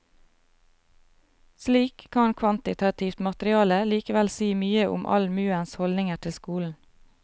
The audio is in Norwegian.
Slik kan kvantitativt materiale likevel si mye om allmuens holdninger til skolen.